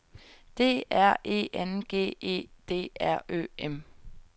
D R E N G E D R Ø M